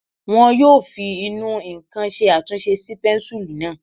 Wọ́n yóò fi ìnù-ǹkan ṣe àtúnṣe sí pẹ́ńsùlú náà